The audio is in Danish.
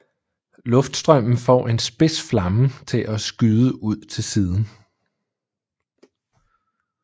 Luftstrømmen får en spids flamme til at skyde ud til siden